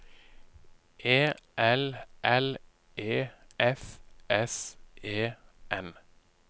E L L E F S E N